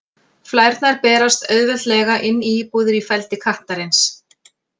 Flærnar berast auðveldlega inn í íbúðir í feldi kattarins.